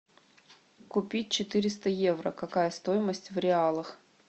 купить четыреста евро какая стоимость в реалах